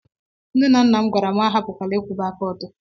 Nne na nna m gwara m na mụ ahapụkwala ịkwụba aka m ọtọ